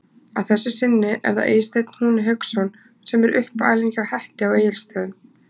Að þessu sinni er það Eysteinn Húni Hauksson sem er uppalinn hjá Hetti á Egilstöðum.